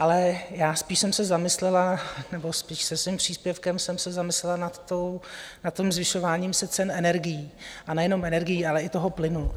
Ale já spíš jsem se zamyslela, nebo spíš se svým příspěvkem jsem se zamyslela nad tím zvyšováním se cen energií, a nejenom energií, ale i toho plynu.